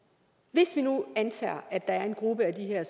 hvis vi nu antager at der er en gruppe af de her